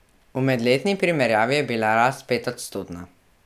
V medletni primerjavi je bila rast petodstotna.